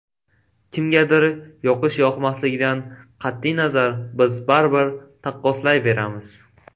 Kimgadir yoqish-yoqmasligidan qat’iy nazar, biz baribir taqqoslayveramiz.